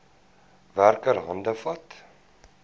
werker hande vat